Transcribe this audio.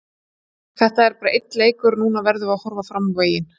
Þetta er bara einn leikur og núna verðum við að horfa fram á veginn.